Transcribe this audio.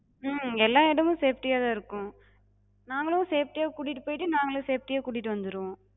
உம் எல்லா இடமு safety யாதா இருக்கு. நாங்களு safety யாக் கூட்டிட்டு போய்ட்டு, நாங்களு safety யாக் கூட்டிட்டு வந்துருவோ.